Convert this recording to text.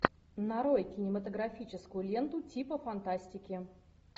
нарой кинематографическую ленту типа фантастики